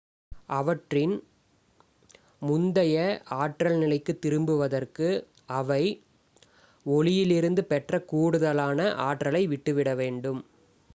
அவற்றின் முந்தைய ஆற்றல் நிலைக்குத் திரும்புவதற்கு அவை ஒளியிலிருந்து பெற்ற கூடுதலான ஆற்றலை விட்டுவிட வேண்டும்